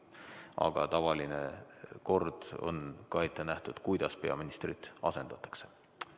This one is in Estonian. Aga tavaline kord on ka ette nähtud, kuidas peaministrit asendatakse.